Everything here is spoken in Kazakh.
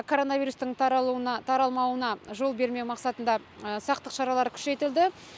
коронавирустың таралмауына жол бермеу мақсатында сақтық шаралары күшейтілді